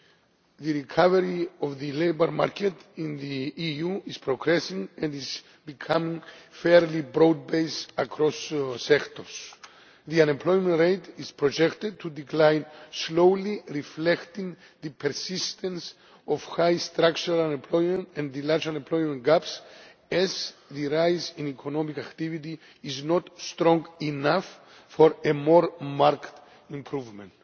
The recovery of the labour market in the EU is progressing and is becoming fairly broad based across sectors. The unemployment rate is projected to decline slowly, reflecting the persistence of high structural unemployment and the large unemployment gaps, as the rise in economic activity is not strong enough for a more marked improvement.